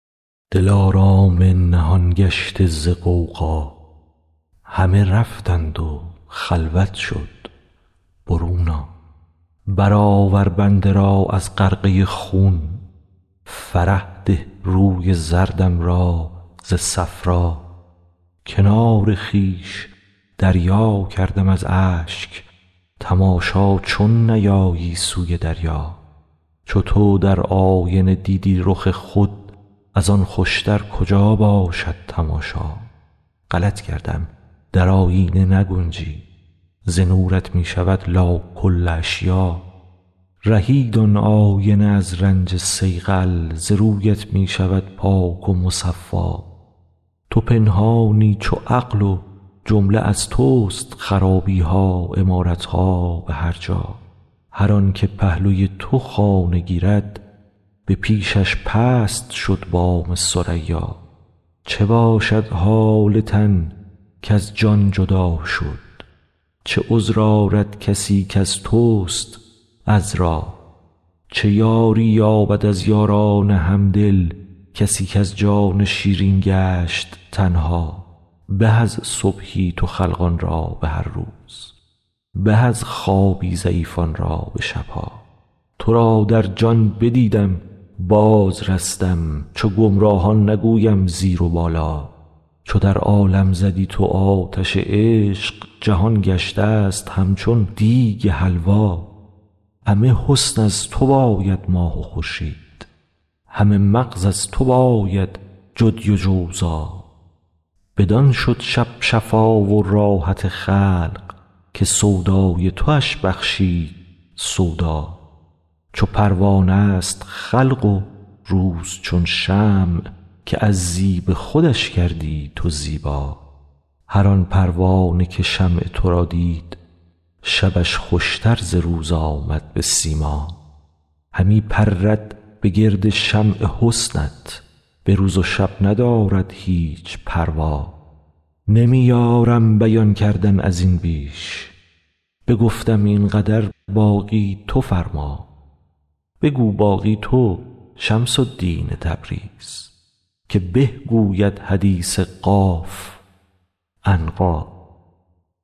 دلارام نهان گشته ز غوغا همه رفتند و خلوت شد برون آ برآور بنده را از غرقه خون فرح ده روی زردم را ز صفرا کنار خویش دریا کردم از اشک تماشا چون نیایی سوی دریا چو تو در آینه دیدی رخ خود از آن خوشتر کجا باشد تماشا غلط کردم در آیینه نگنجی ز نورت می شود لا کل اشیاء رهید آن آینه از رنج صیقل ز رویت می شود پاک و مصفا تو پنهانی چو عقل و جمله از تست خرابی ها عمارت ها به هر جا هر آنک پهلوی تو خانه گیرد به پیشش پست شد بام ثریا چه باشد حال تن کز جان جدا شد چه عذر آرد کسی کز تست عذرا چه یاری یابد از یاران همدل کسی کز جان شیرین گشت تنها به از صبحی تو خلقان را به هر روز به از خوابی ضعیفان را به شب ها تو را در جان بدیدم بازرستم چو گمراهان نگویم زیر و بالا چو در عالم زدی تو آتش عشق جهان گشتست همچون دیگ حلوا همه حسن از تو باید ماه و خورشید همه مغز از تو باید جدی و جوزا بدان شد شب شفا و راحت خلق که سودای توش بخشید سودا چو پروانه ست خلق و روز چون شمع که از زیب خودش کردی تو زیبا هر آن پروانه که شمع تو را دید شبش خوشتر ز روز آمد به سیما همی پرد به گرد شمع حسنت به روز و شب ندارد هیچ پروا نمی یارم بیان کردن از این بیش بگفتم این قدر باقی تو فرما بگو باقی تو شمس الدین تبریز که به گوید حدیث قاف عنقا